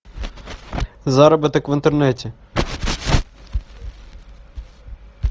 заработок в интернете